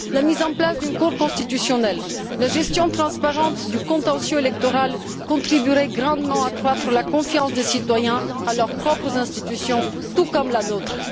La mise en place d'une Cour constitutionnelle et la gestion transparente du contentieux électoral contribueraient grandement à accroître la confiance des citoyens en leurs propres institutions, tout comme la nôtre.